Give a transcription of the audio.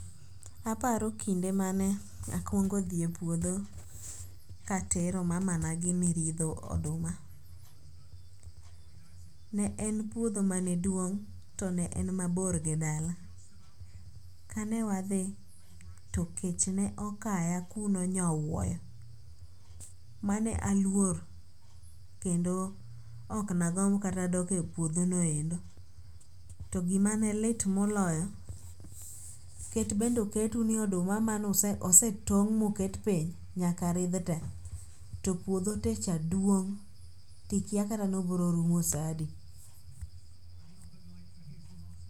Aparo kinde mane akwongo dhi e puodho katero mama na gini ridho oduma. Ne en puodho mane duong' to ne en mabor gi dala. Kane wadhi to kech ne okaya kuno nyowuoyo mane aluor kendo ok na gomb kata dok e puodho no endo. To gima ne lit moloyo, ket bende oket u ni oduma mane ose tong' moket piny nyaka ridh te. To puodho te cha duong' tikia kata ni obiro rumo sa adi?